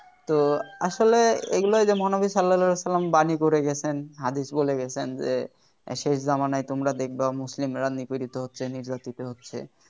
তো আসলে এগুলো ওই যে মহানবী সাল্লাল্লাহু আলাইহি ওয়াসাল্লাম বাণী করে গেছেন হাদিস বলে গেছেন যে শেষ জামানায় তোমরা দেখবা মুসলিমরা নীপিড়ীত হচ্ছে নির্যাতিত হচ্ছে